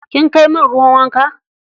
Kin kai min ruwan wanka?